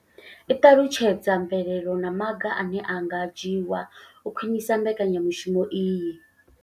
I ṱalutshedza mvelelo na maga ane a nga dzhiwa u khwinisa mbekanya mushumo iyi.